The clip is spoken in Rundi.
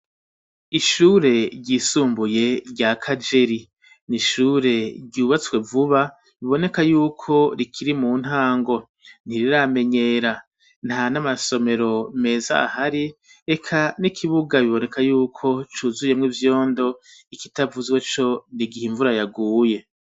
Ishure ryisumbuye rya kajeri ni ishure ryubatswe vuba biboneka yuko rikiri mu ntango ntiriramenyera nta n'amasomero meza ahari eka n'ikibuga biboneka yuko cuzuyemwo ivyondo ikitavuzwe co ni igihe imvura yaguye.